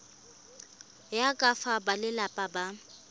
ya ka fa balelapa ba